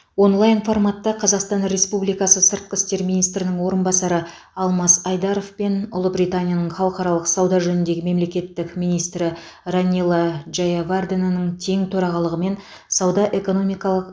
онлайн форматта қазақстан республикасы сыртқы істер министрінің орынбасары алмас айдаров пен ұлыбританияның халықаралық сауда жөніндегі мемлекеттік министрі ранила джаяварденаның тең төрағалығымен сауда экономикалық